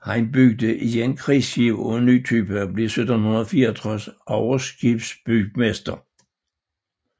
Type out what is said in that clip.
Han byggede igen krigsskibe af en ny type og blev 1764 overskibsbygmester